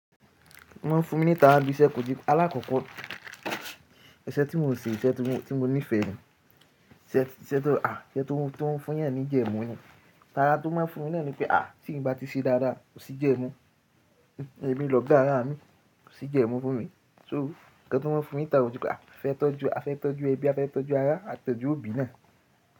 Wọ́n fún mi níta bí iṣẹ́ kò jí. Alákọ̀ọ́kọ́ iṣẹ́ tí mò ń ṣe, iṣẹ́ tí mò ń ní ìfẹ́ ni, iṣẹ́ tó à, iṣẹ́ tó ń fún yàn ní jẹ́mu ni. Tara tó máa fún mi lẹ́nu pé à tí n bá ti ṣe dáadáa kò sí jẹ́mu. Èmi lọ gá ara mi, kò sí jẹ́mu fún mi. So ohùn kan tó máa fún mi níta wípé a fẹ́ tọ́jú, a fẹ́ tọ́jú ẹbí, a fẹ́ tọ́jú ara, a tọ́jú òbí náà.